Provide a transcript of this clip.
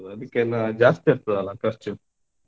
ಜಾಸ್ತಿ ಆಗ್ತದಲ್ಲ ಖರ್ಚು.